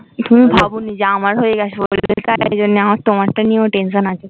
তুমি বাবুনি যে আমার হয়ে গেছে মানে আমার তোমার টা নিয়ে ও আমার tension আছে